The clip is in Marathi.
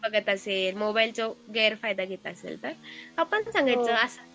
बघत असेल मोबाईलचं गैरफायदा घेत असेल तर आपण सांगायचं असं